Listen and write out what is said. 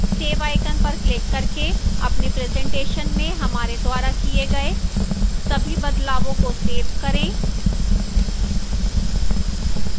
save icon पर click करके अपनी presentation में हमारे द्वारा किए गए सभी बदलावों को सेव करें